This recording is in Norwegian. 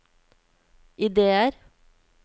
ideer